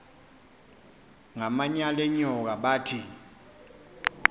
ngamanyal enyoka bathi